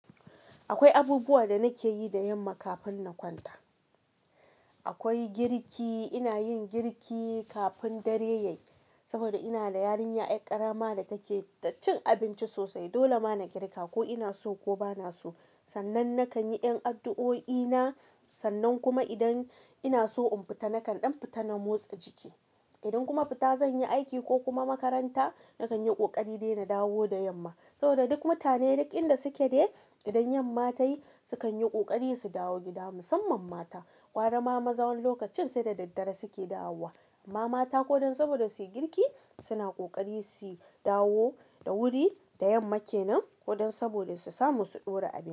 Akwai abubuwa da nake yi da yamma kafin na kwanta. Akwai girki, ina yin girki kafin dare yayi saboda ina da yarinya, yar ƙarama da take da cin abinci sosai. Dole ma na girka, ko ina so ko bana so. Sannan nakan yi ƴan addu'o'i na, sannan kuma idan ina so in fita nakan ɗan fita na motsa jiki. Idan kuma fita zan yi aiki ko kuma makaranta, nakan yi ƙoƙari dai na dawo da yamma. Saboda duk mutane duk inda suke dai, idan 'yamma tayi sukan yi ƙoƙari su dawo gida, musamman mata. Garama maza wqni lokacin sai da daddare suke dawowa, amma mata ko dan saboda su yi girki suna ƙoƙari su dawo da wuri da yamma kenan ko dan saboda su samu su ɗora abinci.